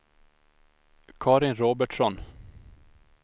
Karin Robertsson